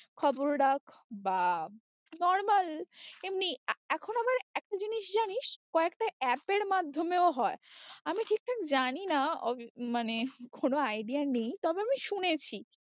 খবর রাখ বা normal এমনি এখন আবার একটা জিনিস জানিস একটা app এর মাধ্যমেও হয়ে, আমি ঠিক ঠাক জানি না মানে কোনো idea নেই তবে আমি শুনেছি।